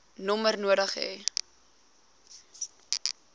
nommer nodig hê